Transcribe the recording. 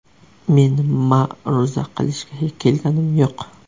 Men ma’ruza qilishga kelganim yo‘q.